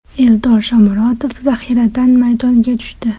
Eldor Shomurodov zaxiradan maydonga tushdi.